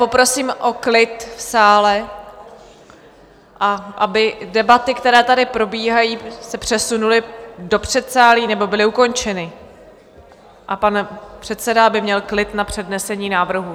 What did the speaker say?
Poprosím o klid v sále, a aby debaty, které tady probíhají, se přesunuly do předsálí nebo byly ukončeny a pan předseda aby měl klid na přednesení návrhů.